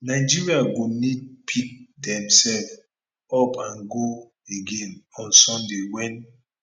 nigeria go need pick demsef up and go again on sunday wen